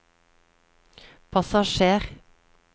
passasjer